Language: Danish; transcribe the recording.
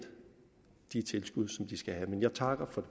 de tilskud som de skal have jeg takker for